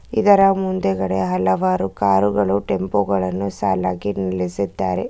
ಇದರ ಮುಂದೆಗಡೆ ಹಲವಾರು ಕಾರು ಗಳು ಟೆಂಪೋ ಗಳನ್ನು ಸಾಲಾಗಿ ನಿಲ್ಲಿಸಿದ್ದಾರೆ.